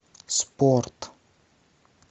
спорт